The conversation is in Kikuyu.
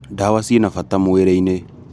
ndawa cina bata mwīrī-inī.